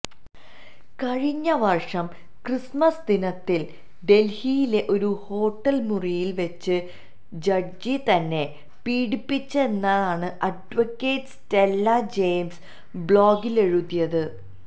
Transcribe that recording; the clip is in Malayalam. കഴിഞ്ഞവര്ഷം ക്രിസ്മസ് ദിനത്തില് ഡല്ഹിയിലെ ഒരു ഹോട്ടല് മുറിയില് വെച്ച് ജഡ്ജി തന്നെ പീഡിപ്പിച്ചെന്നാണ് അഡ്വക്കറ്റ് സ്റ്റെല്ല ജയിംസ് ബ്ലോഗിലെഴുതിയത്